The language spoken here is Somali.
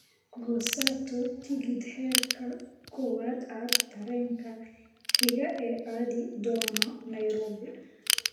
goosato tigidh heerka kowaad ah tareenka xiga ee aadi doono nairobi